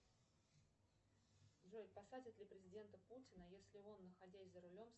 джой посадят ли президента путина если он находясь за рулем